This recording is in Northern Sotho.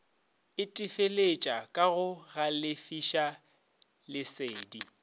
itefeletša ka go galefiša lesedi